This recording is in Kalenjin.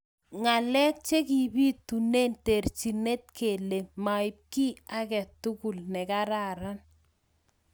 Ngalek chekibitune terjinet kele maib ki ake tugul nekararan.